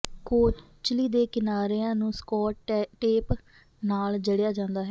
ਕੋਚਲੀ ਦੇ ਕਿਨਾਰਿਆਂ ਨੂੰ ਸਕੌਟ ਟੇਪ ਨਾਲ ਜੜਿਆ ਜਾਂਦਾ ਹੈ